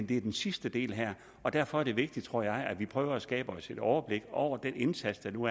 det er den sidste del her og derfor er det vigtigt tror jeg at vi prøver at skabe os et overblik over den indsats der nu